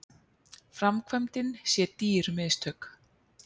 Framkvæmdin sé dýr mistök